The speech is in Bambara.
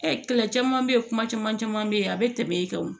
kɛlɛ caman bɛ yen kuma caman caman bɛ yen a bɛ tɛmɛ e kan o